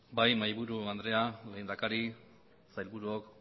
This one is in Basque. bai mahaiburu andrea lehendakari sailburuok